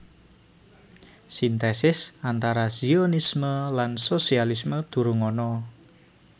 Sintèsis antara Zionisme lan sosialisme durung ana